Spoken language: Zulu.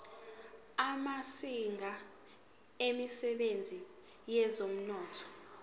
amazinga emsebenzini wezomnotho